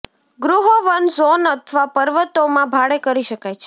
ગૃહો વન ઝોન અથવા પર્વતો માં ભાડે કરી શકાય છે